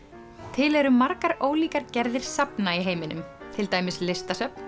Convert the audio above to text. til eru margar ólíkar gerðir safna í heiminum til dæmis listasöfn